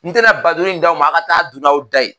N te na ba duuru in d'aw ma, a ka taa dun n'aw da ye.